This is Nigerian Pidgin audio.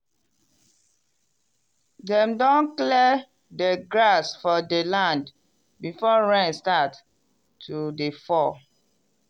dem don clear di grass for di land berore rain start to dey fall.